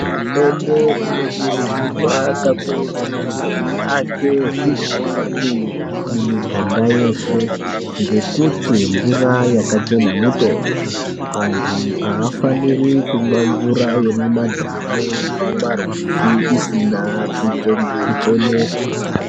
Hurumende inokurudzurwa kakurutu kuti iake zvibhorani mumiganga yeshe ngekuti mvura yakachena mutombo antu afaniri kumwa mvura yemimadhamu nemumarwizi isina kucheneswa.